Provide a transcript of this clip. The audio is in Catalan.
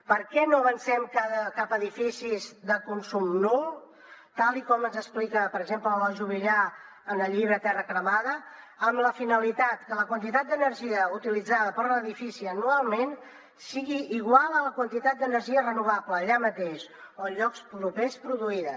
per què no avancem cap a edificis de consum nul tal com ens explica per exemple l’eloi juvillà en el llibre terra cremada amb la finalitat que la quantitat d’energia utilitzada per edifici anualment sigui igual a la quantitat d’energia renovable allà mateix o en llocs propers produïda